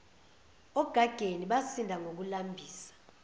ogageni basinda ngokulambisa